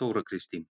Þóra Kristín: